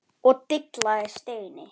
og dillaði Steini.